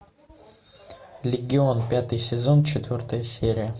легион пятый сезон четвертая серия